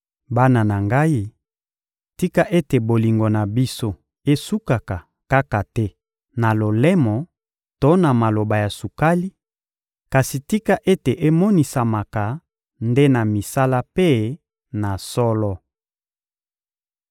Bana na ngai, tika ete bolingo na biso esukaka kaka te na lolemo to na maloba ya sukali; kasi tika ete emonisamaka nde na misala mpe na solo.